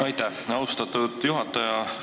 Aitäh, austatud juhataja!